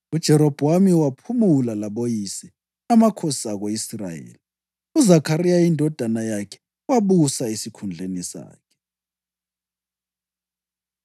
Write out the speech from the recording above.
UJerobhowamu waphumula laboyise, amakhosi ako-Israyeli. UZakhariya indodana yakhe wabusa esikhundleni sakhe.